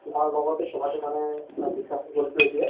তুমাৰ লগতে মানে কথাটো discussion কৰিছো এতিয়া